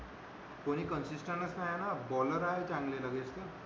कोणी consistent च नाही ना बॉलर आहे चांगले व्यवस्थित